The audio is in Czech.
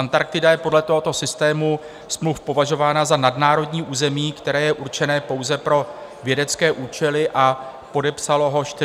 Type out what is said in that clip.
Antarktida je podle tohoto systému smluv považována za nadnárodní území, které je určené pouze pro vědecké účely, a podepsalo to 48 zemí.